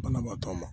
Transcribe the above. Banabaatɔ ma